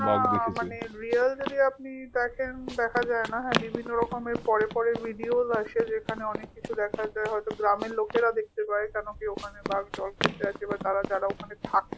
না মানে real যদি আপনি দেখেন দেখা যায়না হ্যা বিভিন্ন রকমের পরের পরের videos আসে যেখানে অনেক কিছু দেখা যায় হয়ত গ্রামের লোকেরা দেখতে পায় কারণ নাকি ওখানে বাঘ দলবেঁধে আসে বা তারা যারা ওখানে থাকে